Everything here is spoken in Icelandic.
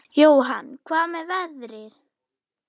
Jóhann: Hvað með veðrið?